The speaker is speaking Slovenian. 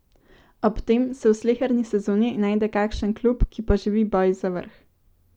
Ob tem se v sleherni sezoni najde kakšen klub, ki poživi boj za vrh.